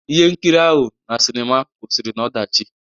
Ihe nkiri ahụ na sinima kwụsịrị n'ọdachi.